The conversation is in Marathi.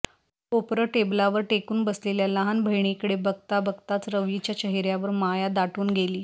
कोपरं टेबलावर टेकून बसलेल्या लहान बहिणीकडे बघता बघताच रवीच्या चेहेर्यावर माया दाटून गेली